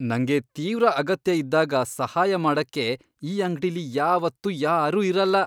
ನಂಗೆ ತೀವ್ರ ಅಗತ್ಯ ಇದ್ದಾಗ ಸಹಾಯ ಮಾಡಕ್ಕೆ ಈ ಅಂಗ್ಡಿಲಿ ಯಾವಾತ್ತು ಯಾರೂ ಇರಲ್ಲ.